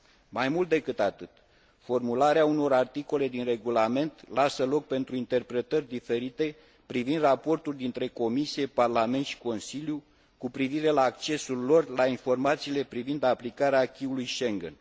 Mai mult de cât atât, formularea unor articole din regulament lasă loc pentru interpretări diferite privind raportul între Comisie, Parlament și Consiliu cu privire la accesul lor la informațiile privind aplicarea acquis ului Schengen.